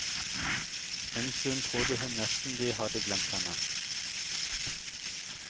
En stund trodde hun nesten de hadde glemt henne.